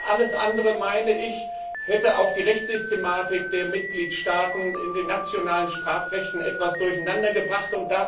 Alles andere hätte auch die Rechtssystematik der Mitgliedstaaten in den nationalen Strafrechten etwas durcheinandergebracht.